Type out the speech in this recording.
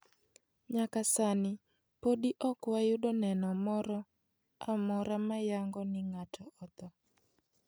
Nyaka sani, podi ok wayudo neno moro amora mayango ni ng'aato otho."